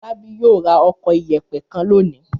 Fọlábí yóò ra ọkọ̀ ìyẹ̀pẹ̀ kan lónìí.